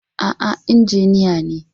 A'a injiniya ne.